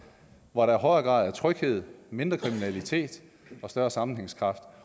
hvor der højere grad af tryghed mindre kriminalitet og større sammenhængskraft